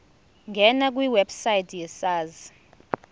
ngena kwiwebsite yesars